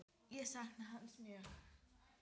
Ég sakna hans mjög.